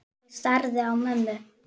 Ég starði á mömmu.